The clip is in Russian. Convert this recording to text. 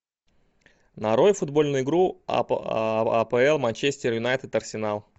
нарой футбольную игру апл манчестер юнайтед арсенал